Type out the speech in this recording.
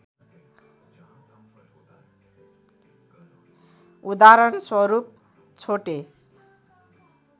उदाहरण स्वरूप छोटे